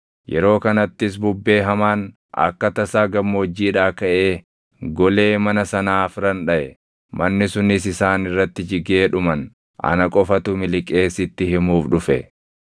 yeroo kanattis bubbee hamaan akka tasaa gammoojjiidhaa kaʼee golee mana sanaa afran dhaʼe; manni sunis isaan irratti jigee dhuman; ana qofatu miliqee sitti himuuf dhufe!”